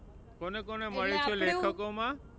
કોને કોને મળીશું લેખકો માં?